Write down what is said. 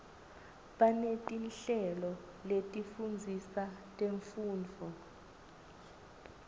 banetinhlelo letifundzisa temfundvo